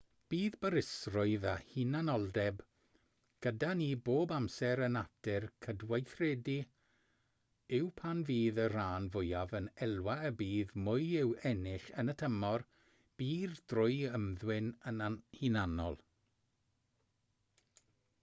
bydd barusrwydd a hunanoldeb gyda ni bob amser a natur cydweithredu yw pan fydd y rhan fwyaf yn elwa y bydd mwy i'w ennill yn y tymor byr drwy ymddwyn yn hunanol